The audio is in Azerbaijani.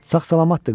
Sağ-salamatdır.